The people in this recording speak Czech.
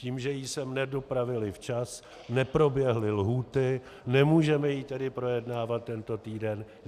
Tím, že ji sem nedopravili včas, neproběhly lhůty, nemůžeme ji tedy projednávat tento týden.